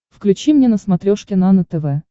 включи мне на смотрешке нано тв